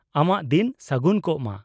-ᱟᱢᱟᱜ ᱫᱤᱱ ᱥᱟᱹᱜᱩᱱ ᱠᱚᱜ ᱢᱟ ᱾